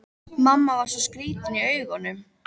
Mamma var svo skrýtin í augunum.